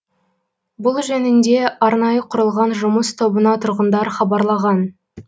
бұл жөнінде арнайы құрылған жұмыс тобына тұрғындар хабарлаған